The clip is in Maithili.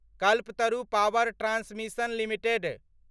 Kalpataru power transmission limited